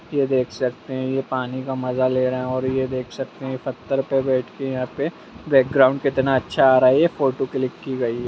ये देख सकते हैं ये पानी का मजा ले रहें हैं और ये देख सकते हैं ये पत्थर पे बैठ के यहाँ पे बैकग्राउन्ड कितना अच्छा आ रहा है ये फोटो क्लिक की गई है।